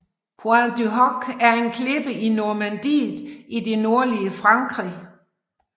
Pointe du Hoc er en klippe i Normandiet i det nordlige Frankrig